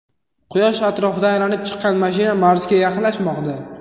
Quyosh atrofida aylanib chiqqan mashina Marsga yaqinlashmoqda.